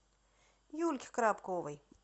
юльке коробковой